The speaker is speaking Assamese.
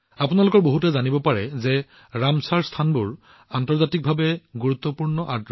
আপোনালোকৰ বহুতে নিশ্চয় জানে যে ৰামচৰ স্থানবোৰ এনেকুৱা আৰ্দ্ৰভূমি যিবোৰ আন্তৰ্জাতিকভাৱে গুৰুত্বপূৰ্ণ